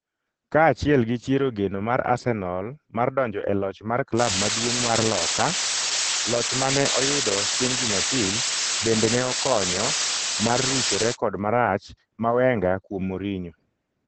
Kaachiel gi chiero geno mar Arsenal mar donjo e loch mar klab maduong' mar loka, loch mane oyudo chieng' Jumapil bende ne okonyo mar rucho rekod marach ma Wenger kuom Mourinho.